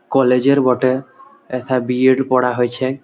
College এর বটে। এথা বি. এড. পড়া হয়েছে ।